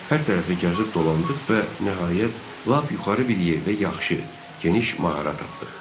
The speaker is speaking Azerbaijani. Hər tərəfi gəzib dolandıq və nəhayət lap yuxarı bir yerdə yaxşı, geniş mağara tapdıq.